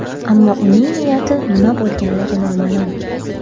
Ammo uning niyati nima bo‘lganligi noma’lum.